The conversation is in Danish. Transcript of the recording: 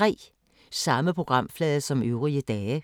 Samme programflade som øvrige dage